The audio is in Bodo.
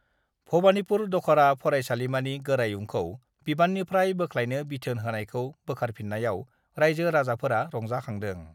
भबानिपुर दख'रा फरायसालिमानि गोरायुंखौ बिबाननिफ्राय बोख्लायनो बिथोन होनायखौ बोखारफिन्नायाव राइजो-राजाफोरा रंजाखांदों